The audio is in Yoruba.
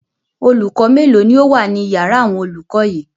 Olùkọ́ mélòó ni ó wà ní ìyàrá àwọn olùkọ́ yìí?